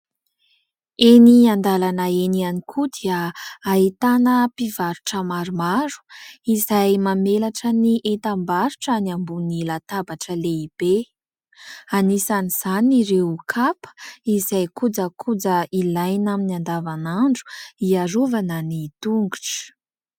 Eny an-dalana eny ihany koa dia ahitana mpivarotra maromaro izay mamelatra ny entam-barotrany ambony latabatra lehibe. Anisan'izany ireo kapa izay kojakoja ilaina amin'ny andavanandro hiarovana ny tongotra.